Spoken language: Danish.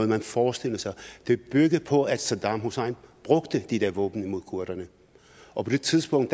man forestillede sig det byggede på at saddam hussein brugte de der våben imod kurderne og på det tidspunkt